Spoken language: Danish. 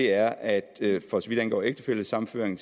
er at for så vidt angår ægtefællesammenføring